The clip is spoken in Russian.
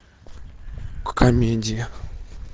комедии